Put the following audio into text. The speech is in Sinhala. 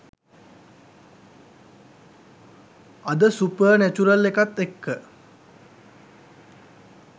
අද සුප්ර්නැචුරල් එකත් එක්ක